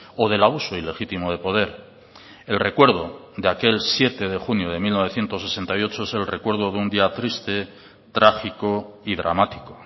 o del abuso ilegítimo de poder el recuerdo de aquel siete de junio de mil novecientos sesenta y ocho es el recuerdo de un día triste trágico y dramático